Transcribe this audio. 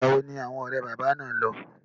Ìgbà wo ni awọn ọ̀rẹ́ bàbá náà lọ?